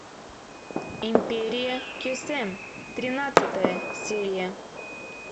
империя кесем тринадцатая серия